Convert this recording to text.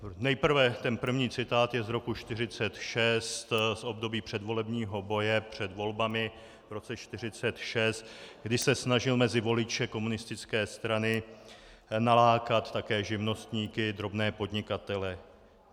Nejprve ten první citát je z roku 1946, z období předvolebního boje před volbami v roce 1946, kdy se snažil mezi voliče komunistické strany nalákat také živnostníky, drobné podnikatele.